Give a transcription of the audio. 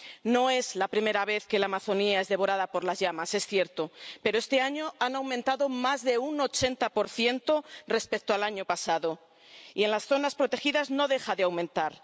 No es la primera vez que la Amazonia es devorada por las llamas, es cierto, pero este año han aumentado más de un 80 respecto al año pasado y en las zonas protegidas no deja de aumentar.